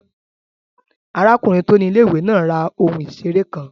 Arákùnrin tó ni ilé-ìwé náà ra ohun ìseré kan